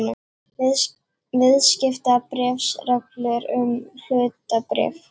Viðskiptabréfsreglur um hlutabréf.